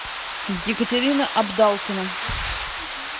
екатерина обдалкина